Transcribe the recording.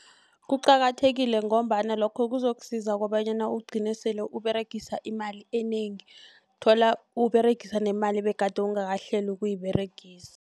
Kuqakathekile ngombana lokho kuzokusiza kobanyana ugcine sele uberegisa imali enengi. Thola uberegisa nemali begade ungakahleli ukuyiberegisa.